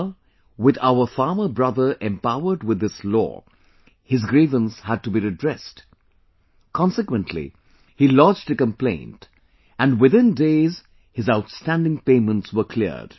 Now, with our farmer brother empowered with this law, his grievance had to be redressed ; consequently, he lodged a complaint and within days his outstanding payments were cleared